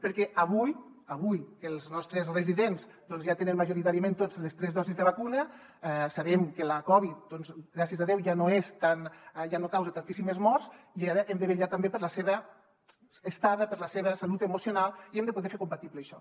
perquè avui que els nostres residents doncs ja tenen majoritàriament les tres dosis de vacuna sabem que la covid gràcies a déu ja no causa tantíssimes morts i ara hem de vetllar també per la seva estada per la seva salut emocional i hem de poder fer compatible això